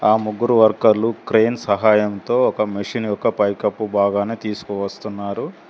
ఆ ముగ్గురు వర్కర్లు క్రేన్ సహాయంతో ఒక మెషిన్ యొక్క పైకప్పు భాగాన్ని తీసుకువస్తున్నారు.